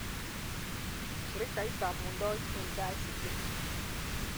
Shirikaitab muundoit eng KICD